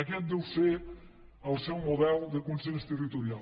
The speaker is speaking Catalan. aquest deu ser el seu model de consens territorial